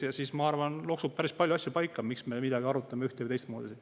Ja siis, ma arvan, loksub paika päris palju asju, miks me midagi arutame ühte- või teistmoodi.